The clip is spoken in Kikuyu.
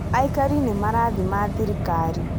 Aikari nĩ marathima thirikari